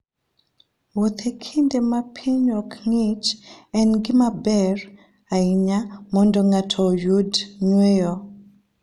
Wuoth e kinde ma piny ok ng'ich en gima ber ahinya mondo ng'ato oyud yweyo.